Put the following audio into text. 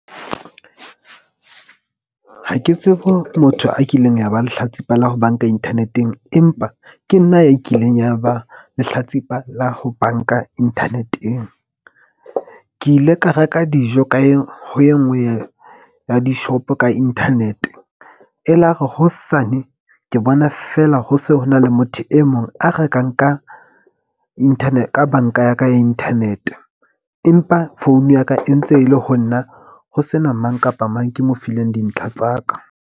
Ha ke tsebe ho motho a kileng ya ba lehlatsipa la ho bank-a internet-eng, empa ke nna a kileng ya ba lehlatsipa la ho bank-a internet-eng. Ke ile ka reka dijo, ka ye ho e nngwe ya di-shop-o ka internet-e. Elare hosane ke bona feela ho se ho na le motho e mong a rekang ka ka bank-a ya ka ya internet. Empa phone ya ka e ntse e le ho nna ho sena mang kapa mang ke mo fileng dintlha tsa ka.